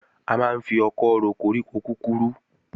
A máa ń fi ọkọ́ ro koríko kúkurú